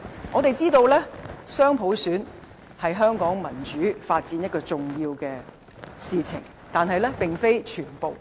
我們知道雙普選是香港民主發展的重要事情，但並非全部。